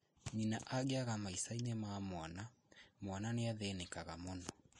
Nyina angĩaga maicani ma mwana ,mwana nĩathĩnĩkaga mũno